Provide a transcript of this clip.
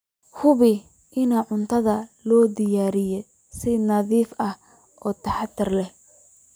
Hubi in cuntada loo diyaariyey si nadiif ah oo taxadar leh.